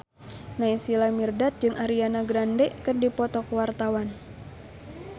Naysila Mirdad jeung Ariana Grande keur dipoto ku wartawan